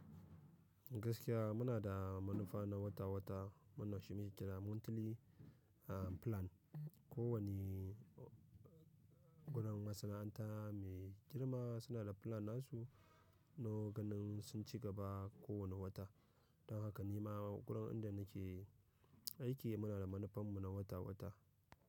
Gaskiya muna da manufa na wata-wata, wanban shi muke kira monthly a plan. Ko wanie wurin masana'anta mai girma suna da plan nasu na ganin sun ci gaba kowane wata. Don haka ni ma wurin inda nake aiki muna da manufanmu na wata-wata.